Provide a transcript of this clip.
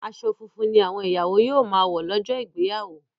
aṣọ funfun ní àwọn ìyàwó yíò má wọ lójó Ìgbéyàwó